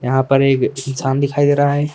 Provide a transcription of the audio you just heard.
यहाँ पर एक इंसान दिखाई दे रहा है।